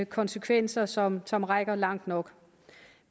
konsekvenser som som rækker langt nok